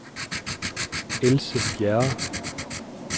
Else Bjerre